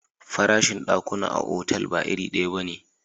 Farashin dakuna a otal ba iri daya bane.